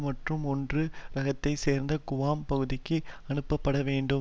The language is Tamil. மற்றும் ஒன்று ரகத்தைச் சார்ந்தவை குவாம் பகுதிக்கு அனுப்பப்படவேண்டும்